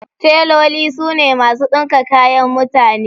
Teloli su ne masu ɗinka kayan mutane.